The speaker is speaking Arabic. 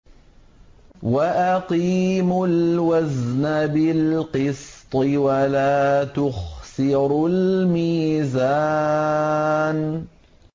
وَأَقِيمُوا الْوَزْنَ بِالْقِسْطِ وَلَا تُخْسِرُوا الْمِيزَانَ